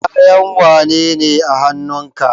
Kayan wane ne a hanun ka?